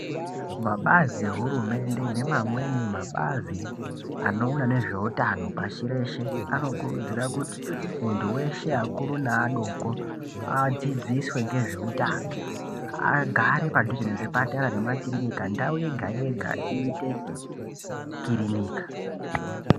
Mabazi ehurumende neamweni mabazi a Oona nezvehutano pashi reshe anokurudzira kuti muntu weshe akuru neadoko adzidziswe nezvehutano agare padhuze nemakiriniki nezvipatara ndau yega yega iite kirinika.